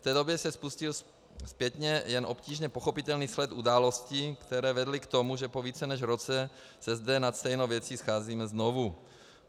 V té době se spustil zpětně jen obtížně pochopitelný sled událostí, které vedly k tomu, že po více než roce se zde nad stejnou věcí scházíme znovu.